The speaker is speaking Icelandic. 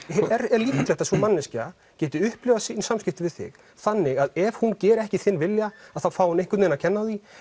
er líklegt að sú manneskja geti upplifað sín samskipti við þig þannig að ef hún geri ekki þinn vilja þá fái hún einhvern veginn að kenna á því